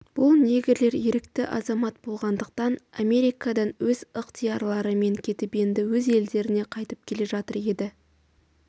бұл негрлер ерікті азамат болғандықтан америкадан өз ықтиярларымен кетіп енді өз елдеріне қайтып келе жатыр еді